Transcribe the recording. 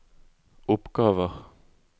oppgaver